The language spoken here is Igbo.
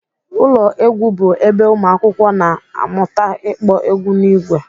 Ụlọ egwu bụ ebe ụmụakwụkwọ na-amụta ịkpọ egwu n'ìgwè